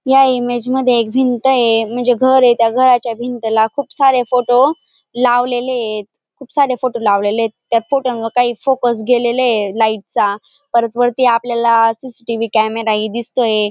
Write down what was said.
या इमेज मध्ये एक भिंत ये म्हणजे घर ये त्या घराच्या भिंतीला खूप सारे फोटो लावलेले येत खूप सारे फोटो लावलेले येत त्या फोटो णवर काही फोकस गेलेला ये लाईट चा परत वरती आपलयाला सी. सी.टी.व्ही कॅमेरा ही दिसतोय.